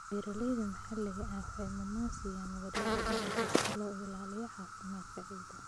Beeralayda maxalliga ahi waxay mudnaan siiyaan wareegga dalagga si loo ilaaliyo caafimaadka ciidda.